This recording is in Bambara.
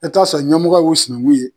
E taa ɲɛmɔgɔ y'u sinanku ye